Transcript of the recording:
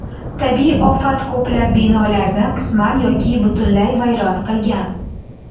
Tabiiy ofat ko‘plab binolarni qisman yoki butunlay vayron qilgan.